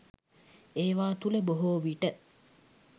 ඒවා තුළ බොහෝ විට